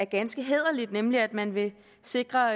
ganske hæderligt nemlig at man vil sikre